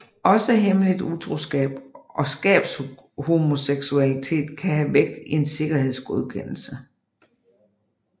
Også hemmeligt utroskab og skabshomoseksualitet kan have vægt i en sikkerhedsgodkendelse